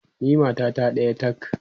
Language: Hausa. ni matata ɗaya tak!